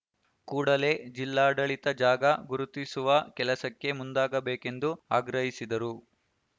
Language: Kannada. ಕೂಡಲೇ ಜಿಲ್ಲಾಡಳಿತ ಜಾಗ ಗುರುತಿಸುವ ಕೆಲಸಕ್ಕೆ ಮುಂದಾಗಬೇಕೆಂದು ಆಗ್ರಹಿಸಿದರು